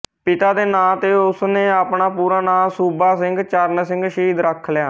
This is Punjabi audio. ਪਿਤਾ ਦੇ ਨਾਂ ਤੇ ਉਸਨੇ ਆਪਣਾ ਪੂਰਾ ਨਾਂ ਸੂਬਾ ਸਿੰਘ ਚਰਨ ਸਿੰਘ ਸ਼ਹੀਦ ਰੱਖ ਲਿਆ